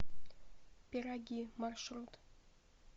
пироги маршрут